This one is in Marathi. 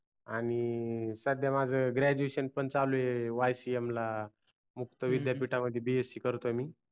आणि सध्या माझ graduation पण चालू आहे ycm ला मुक्त विध्ययपीठा मध्ये bsc करतोय मी